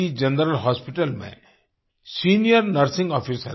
general hospital में senior nursing officer हैं